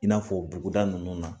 I n'a fɔ buguda ninnu na